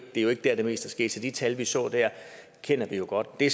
er der det meste er sket så de tal vi så der kender vi jo godt det